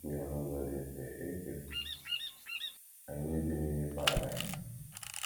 N’ikwu ya n’ụzọ dị mfe, e kere anyị ibi n’ime Paradaịs!